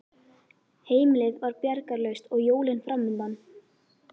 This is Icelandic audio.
Heimilið var bjargarlaust og jólin framundan.